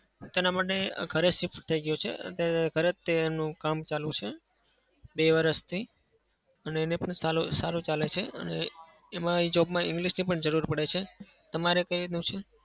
તેના માટે ઘરે shift થઇ ગયો છે. અને ઘરેથી જ કામ ચાલુ છે બે વર્ષથી. અને એને પણ સારું સારું ચાલે છે અને એમાં એ job માં english ની પણ જરૂર પડે છે. તમારે કઈ રીતનું છે?